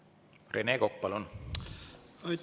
Rene Kokk, palun!